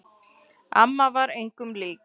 Amma var engum lík.